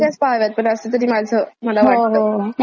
कारण हम्म बरोबर आपल्यावर इम्पॅक्ट होत असतो त्याचा पण,